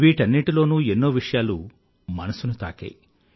వీటన్నింటిలోనూ ఎన్నో విషయాలు మనసుని తాకాయి